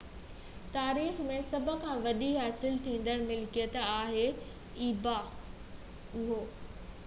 اهو ebay جي تاريخ ۾ سڀ کان وڏي حاصل ٿيندڙ ملڪيت آهي